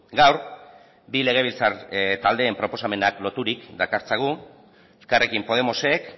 gaur bi legebiltzar taldeen proposamenak loturik dakartzagu elkarrekin podemosek